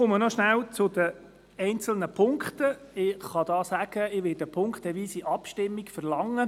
Noch rasch zu den einzelnen Punkten: Ich werde eine punktweise Abstimmung verlangen.